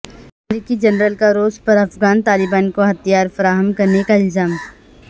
امریکی جنرل کا روس پر افغان طالبان کو ہتھیار فراہم کرنے کا الزام